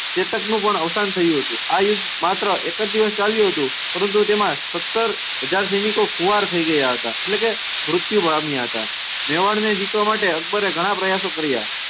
ચેતકનું પણ અવસાન થયું હતું. આ યુદ્ધ માત્ર એક જ દિવસ ચાલ્યું હતું. પરંતુ તેમાં સત્તર હજાર સૈનિકો ખુવાર થઇ ગયા હતા એટલે કે મૃત્યુ પામ્યા હતા. મેવાડને જીતવા માટે અકબરે ઘણાં પ્રયાસો કર્યા.